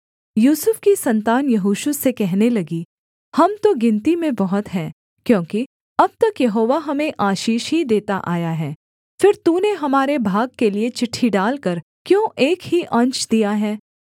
यूसुफ की सन्तान यहोशू से कहने लगी हम तो गिनती में बहुत हैं क्योंकि अब तक यहोवा हमें आशीष ही देता आया है फिर तूने हमारे भाग के लिये चिट्ठी डालकर क्यों एक ही अंश दिया है